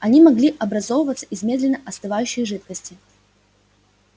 они могли образовываться из медленно остывающей жидкости